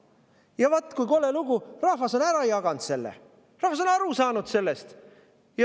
Ja vaat kui kole lugu, rahvas on selle ära jaganud, rahvas on sellest aru saanud.